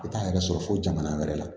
I t'a yɛrɛ sɔrɔ fo jamana wɛrɛ la